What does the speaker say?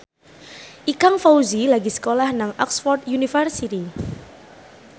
Ikang Fawzi lagi sekolah nang Oxford university